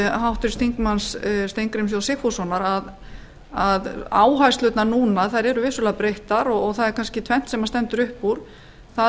háttvirts þingmanns steingríms j sigfússonar að áherslurnar eru vissulega breyttar og tvennt stendur upp úr annars vegar